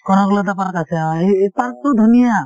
Kanaklata park আছে অ এ এই park টো ধুনীয়া ।